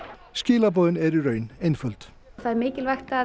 skilaboðin eru í raun einföld það er mikilvægt að